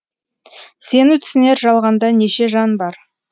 сені түсінер жалғанда неше жан бар